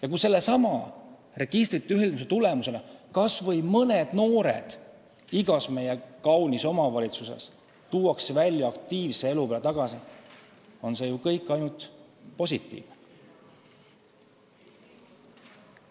Ja kui sellesama registrite ühildamise tulemusena tuuakse kas või mõned noored meie igas kaunis omavalitsuses kodust välja, aktiivse elu peale tagasi, on see ju ainult positiivne.